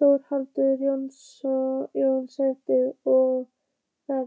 Þórhallur Jósefsson: Og er